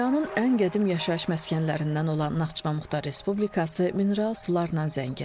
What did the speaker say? Dünyanın ən qədim yaşayış məskənlərindən olan Naxçıvan Muxtar Respublikası mineral sularla zəngindir.